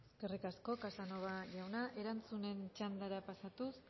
eskerrik asko casanova jauna erantzunen txandara pasatuz